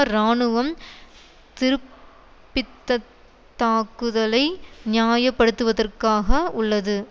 இராணுவம் திருப்பித்தத்தாக்குதலை நியாயப்படுத்துவதற்காக உள்ளது